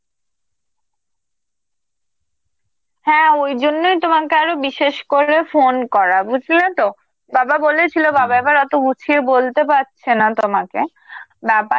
হ্যাঁ, ওই জন্যেই তোমাকে আরো বিশেষ করে phone করা, বুঝলে তো? বাবা বলেছিল, বাবা এবার অত গুছিয়ে বলতে পারছে না তোমাকে, ব্যাপার